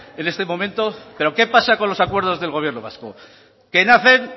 en este momento pero qué pasa con los acuerdos del gobierno vasco que nacen